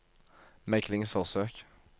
meglingsforsøk